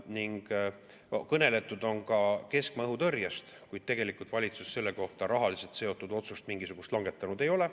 Ning kõneletud on ka keskmaa õhutõrjest, kuid tegelikult valitsus selle kohta mingisugust rahaliselt seotud otsust langetanud ei ole.